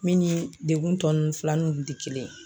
Min ni degun tɔ nun fila nun kun te kelen ye